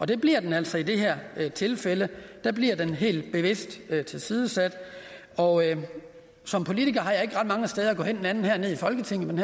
det bliver den altså i det her tilfælde der bliver den helt bevidst tilsidesat og som politiker har jeg ikke ret mange steder at gå hen andet end her i folketingssalen